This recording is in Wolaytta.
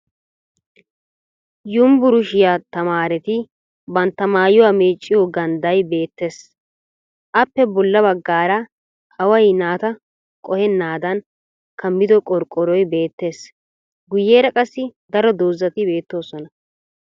Yumburushiya tamaareti bantta maayuwa meecciyo gandday beettes. Appe bolla baggaara away naata qohennaadan kammido qorqqoroy beettes. Guyyeera qassi daro dozzati beettoosona.